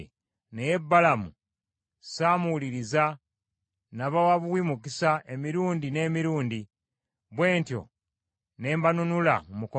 naye Balamu saamuwuliriza, n’abawa buwi mukisa emirundi n’emirundi. Bwe ntyo ne mbanunula mu mukono gwe.